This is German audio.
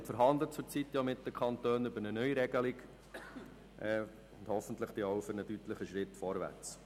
Er verhandelt derzeit mit den Kantonen über eine Neuregelung, und hoffentlich folgt daraus auch ein deutlicher Schritt nach vorne.